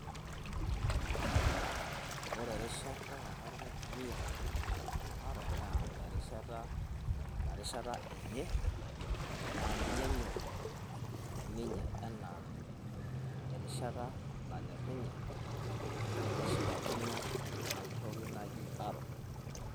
Ore erishata nenare naitumiya haro ,naa erishata naa inarishata enye naa ninye enyor ninye enaa erishata nanyor ninye nashipakino inatoki naji haro.